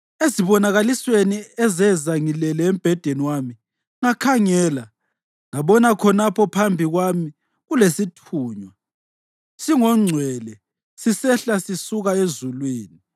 Ezibonakalisweni ezeza ngilele embhedeni wami, ngakhangela, ngabona khonapho phambi kwami kulesithunywa, singongcwele, sisehla sisuka ezulwini.